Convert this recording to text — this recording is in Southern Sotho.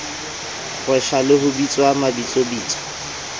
kgeswa le ho bitswa mabitsobitso